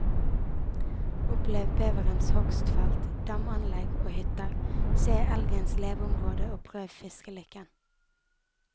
Opplev beverens hogstfelt, damanlegg og hytter, se elgens leveområde og prøv fiskelykken.